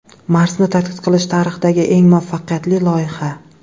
Marsni tadqiq qilish tarixidagi eng muvaffaqiyatli loyiha.